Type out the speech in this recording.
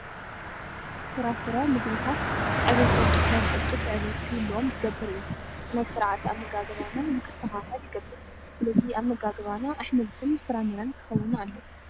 ፍራፍረ ምግብታት ዕብየት ወድሰብ ቅልጡፍ ዕብየት ክህልዎም ዝገብር እዩ። ናይ ስርዓተ ኣመጋግባና ንክስተኸከል ይገብር። ስለዚ ኣመጋግባና ኣሕምልትን ፍራምረን ክኸውን ኣለዎ።